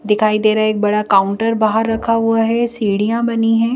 दिखाई दे रहा है एक बड़ा काउंटर बाहर रखा हुआ है सीढ़ियां बनी है।